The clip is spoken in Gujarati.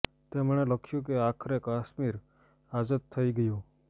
તેણે લખ્યું કે આખરે કાશ્મીર આઝાદ થઈ ગયું